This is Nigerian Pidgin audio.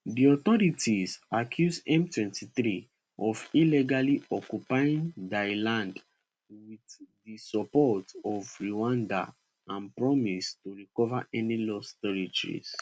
di authorities accuse m23 of illegally occupying dia land with di support of rwanda and promise to recover any lost territory